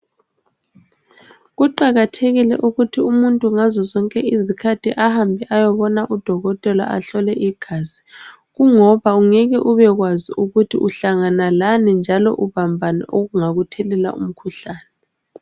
Kuqakathekile ukuthi umuntu ngazo zonke izikhathi ahambe ayebona udokotela ahlolwe igazi kungoba ungeke ubekwazi ukuthi uhlangana lani njalo ubambani okungakuthelela umkhuhlane.